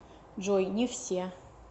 джой не все